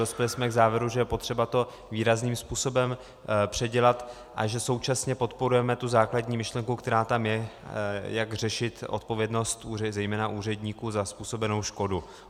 Dospěli jsme k závěru, že je potřeba to výrazným způsobem předělat a že současně podporujeme tu základní myšlenku, která tam je, jak řešit odpovědnost zejména úředníků za způsobenou škodu.